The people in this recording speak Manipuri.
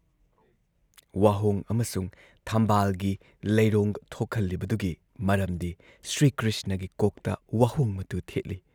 ꯋꯥꯍꯣꯡ ꯑꯃꯁꯨꯡ ꯊꯝꯕꯥꯜꯒꯤ ꯂꯩꯔꯣꯡ ꯊꯣꯛꯍꯜꯂꯤꯕꯗꯨꯒꯤ ꯃꯔꯝꯗꯤ ꯁ꯭ꯔꯤꯀ꯭ꯔꯤꯁꯅꯒꯤ ꯀꯣꯛꯇ ꯋꯥꯍꯣꯡ ꯃꯇꯨ ꯊꯦꯠꯂꯤ ꯫